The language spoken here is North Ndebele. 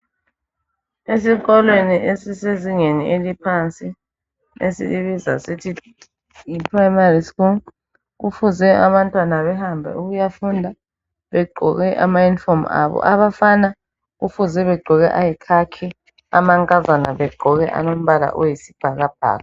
Esikolweni esisezingeni eliphansi esilibiza sithi yiprimary school kufuze abantwana behambe ukuyafunda begqoke ama uniform abo abafana kufuze begqoke ayikhakhi amankazana begqoke alombala oyisibhakabhaka.